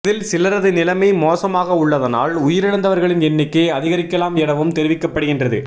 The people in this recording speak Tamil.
இதில் சிலரது நிலைமை மோசமாக உள்ளதனால் உயிரிழந்தவர்களின் எண்ணிக்கை அதிகரிக்கலாம் எனவும் தெரிவிக்கப்படுகின்றது